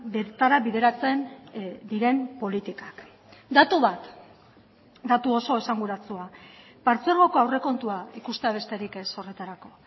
bertara bideratzen diren politikak datu bat datu oso esanguratsua partzuergoko aurrekontua ikustea besterik ez horretarako